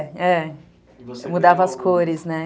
É, é. Mudava as cores, né?